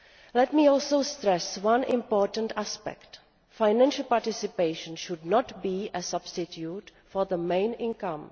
Let me also stress one important aspect financial participation should not be a substitute for the main income.